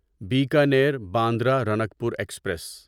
Bikaner Bandra Ranakpur express